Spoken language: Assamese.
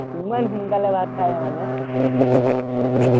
ইমান সোনকালে ভাত খাৱ মানে